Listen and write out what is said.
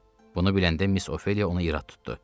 Bunu biləndə Miss Ofeliya onu irad tutdu.